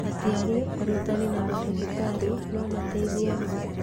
Aciari, arutani, na mandagĩtarĩ no mateithie mũno.